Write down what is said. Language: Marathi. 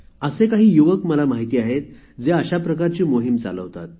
असे काही युवक मला माहीत आहेत जे अशा प्रकारची मोहीम चालवतात